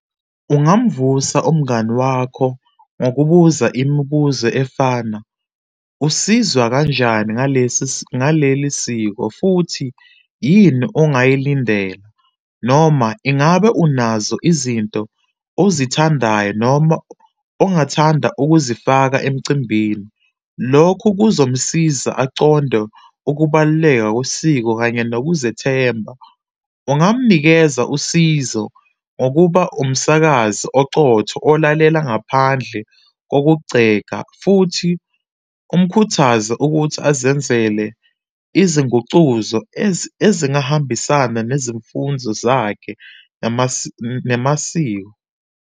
Ungamvusa umngani wakho ngokubuza imibuzo efana, usizwa kanjani ngalesi, ngaleli siko futhi yini ongayilindele, noma ingabe unazo izinto ozithandayo, noma ongathanda ukuzifaka emcimbini. Lokhu kuzomsiza aconde ukubaluleka kwesiko kanye nokuzethemba. Ungamnikeza usizo ngokuba umsakazi oqotho olalele ngaphandle kokugceka futhi umkhuthaze ukuthi azenzele izingucuzo ezingahambisana nezimfundzo zakhe namasiko.